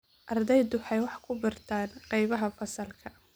Ardaydu waxay wax ku bartaan qaybaha fasalka.